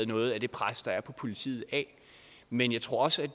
noget af det pres der er på politiet men jeg tror også at